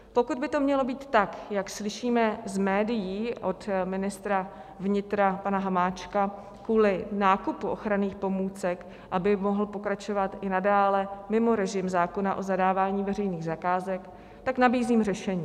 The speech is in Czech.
Pokud by to mělo být tak, jak slyšíme z médií od ministra vnitra pana Hamáčka kvůli nákupu ochranných pomůcek, aby mohl pokračovat i nadále mimo režim zákona o zadávání veřejných zakázek, tak nabízím řešení.